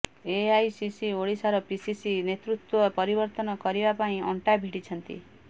AICC ଓଡ଼ିଶାର PCC ନେତୃତ୍ୱ ପରିବର୍ତ୍ତନ କରିବା ପାଇଁ ଅଣ୍ଟା ଭିଡ଼ିଛନ୍ତି